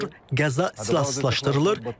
Qəzza silahsızlaşdırılır,